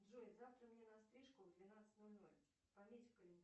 джой завтра мне на стрижку в двенадцать ноль ноль пометь в